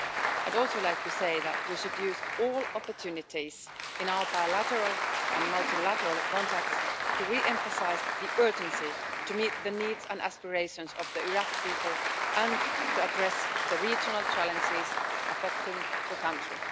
I would also like to say that we should use all opportunities in our bilateral and multilateral contacts to re emphasise the urgency of meeting the needs and aspirations of the Iraqi people, and of addressing the regional challenges affecting the country.